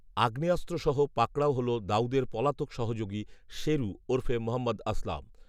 আগ্নেয়াস্ত্রসহ পাকড়াও হল দাউদের পলাতক সহযোগী, শেরু ওরফে মহম্মদ আসলাম